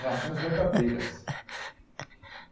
Reações verdadeiras.